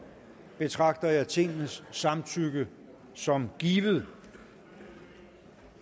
betragter jeg tingets samtykke som givet